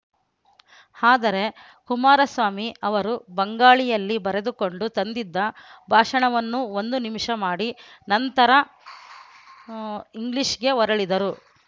ಆದರೆ ಕುಮಾರಸ್ವಾಮಿ ಅವರು ಬಂಗಾಳಿಯಲ್ಲಿ ಬರೆದುಕೊಂಡು ತಂದಿದ್ದ ಭಾಷಣವನ್ನು ಒಂದು ನಿಮಿಷ ಮಾಡಿ ನಂತರ ಇಂಗ್ಲಿಷ್‌ಗೆ ಹೊರಳಿದರು